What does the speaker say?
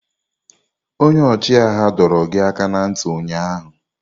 Onye ọchịagha dọrọ gị aka ná ntị ụnyaahụ!